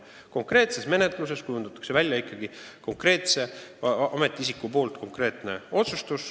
Konkreetses menetluses langetab ikkagi konkreetne ametiisik konkreetse otsuse.